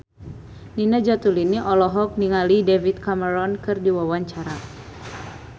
Nina Zatulini olohok ningali David Cameron keur diwawancara